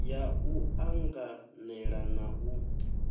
ya u anganela na u